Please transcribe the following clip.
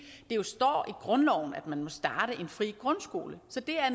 jo står i grundloven at man må starte en fri grundskole så det er